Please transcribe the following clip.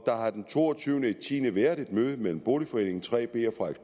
der har den to og tyve ti været et møde mellem boligforeningen 3b og